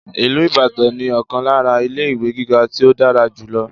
Ìlú Ìbàdàn ní ọ̀kan lára ilé-ìwé gíga tí ó dára jù lọ..